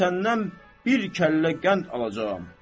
Mən səndən bir kəllə qənd alacağam.